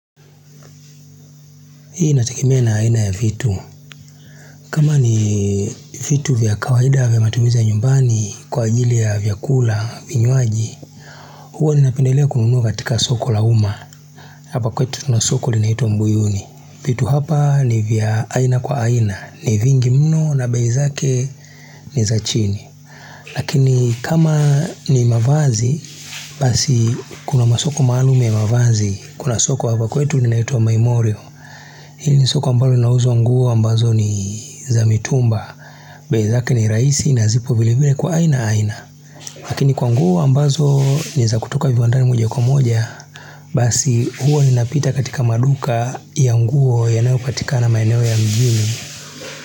Hii inategemea na aina ya vitu. Kama ni vitu vya kawaida vya matumizi ya nyumbani kwa ajili ya vyakula vinywaji. Huwa nimependelea kununua katika soko la umma. Hapa kwetu kuna soko linaitwa mbuyuni. Vitu hapa ni vya aina kwa aina. Ni vingi mno na bei zake ni za chini. Lakini kama ni mavazi, basi kuna masoko maalum ya mavazi. Kuna soko hapa kwetu linaitwa maimorio. Hii ni soko ambayo inauzwa nguo ambazo ni za mitumba bei zake ini raisi na zipo vile vile kwa aina aina Lakini kwa nguo ambazo ni za kutoka viwandani moja kwa moja Basi huwa ninapita katika maduka ya nguo yanayopatikana maeneo ya mjini.